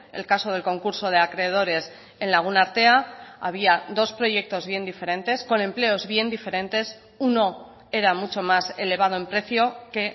el caso del concurso de acreedores en lagun artea había dos proyectos bien diferentes con empleos bien diferentes uno era mucho más elevado en precio que